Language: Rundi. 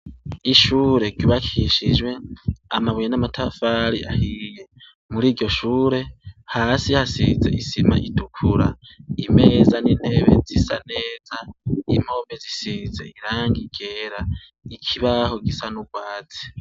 Ishure kibakishijwe amabuye n'amatafari ahiye muri iryo shure hasi hasize isima itukura imeza n'intebe zisa neza impobe zisize iranga ikera ikibaho gisa n'ubwazi.